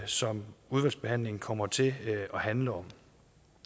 som udvalgsbehandlingen kommer til at handle om